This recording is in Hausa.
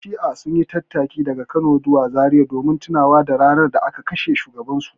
Ƴan shi'a sun yi tattaki daga Kano zuwa Zariya saboda tunawa da ranar da aka kashe shugabansu.